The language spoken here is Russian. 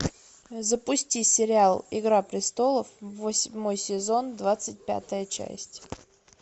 запусти сериал игра престолов восьмой сезон двадцать пятая часть